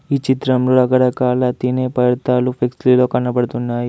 ఈ చిత్రంలో రకరకాల తినే పదార్థాలు ఫ్లెక్సీ లో కనబడుతున్నాయి.